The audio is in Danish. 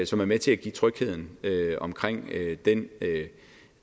som er med til at give tryghed omkring